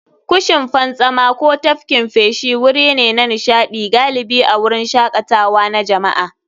Kushin fantsama ko tafkin feshi wuri ne na nishaɗi, galibi a wurin shakatawa na jama'a.